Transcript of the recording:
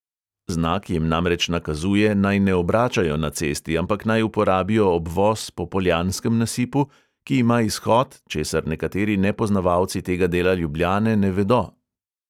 Znak jim namreč nakazuje, naj ne obračajo na cesti, ampak naj uporabijo obvoz po poljanskem nasipu, ki ima izhod, česar nekateri nepoznavalci tega dela ljubljane ne vedo.